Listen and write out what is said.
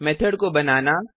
method को बनाना